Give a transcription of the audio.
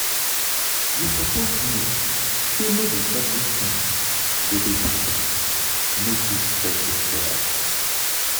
you suppose know sey no be everytin go dey perfect no too stress yoursef.